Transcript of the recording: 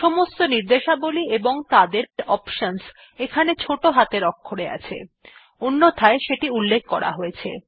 সমস্ত র্নিদেশাবলী এবং তাদের অপশনস এখানে ছোট হাতের অক্ষরে আছে অন্যথায় সেটি উল্লেখ করা আছে